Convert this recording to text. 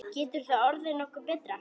Getur það orðið nokkuð betra?